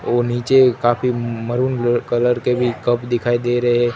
ओ नीचे काफी maroon colour के भी कप दिखाई दे रहे हैं।